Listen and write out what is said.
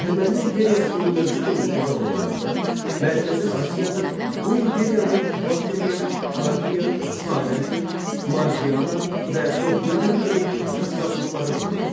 Əhəməni İmperiyasının mövcud olduğu zamanlarda Mərkəzi Asiyada bu imperiyanın Bakteriya, Parfiya, Xarəzm, Margiana və Soqdiana kimi satraplıqları var idi.